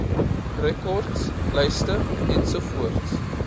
rekords lyste ens